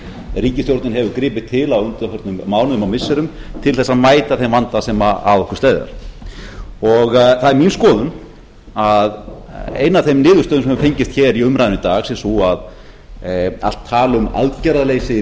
ríkisstjórnin hefur gripið til á undanförnum mánuðum og missirum til þess að mæta þeim vanda sem að okkur steðjar það er mín skoðun að ein af þeim niðurstöðum sem hafa fengist hér í umræðunni í dag sé sú að allt tal um aðgerðaleysi